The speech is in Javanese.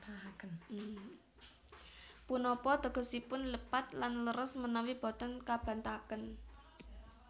Punapa tegesipun lepat lan leres menawi boten kabantahaken